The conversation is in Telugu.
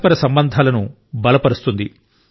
పరస్పర సంబంధాలను బలపరుస్తుంది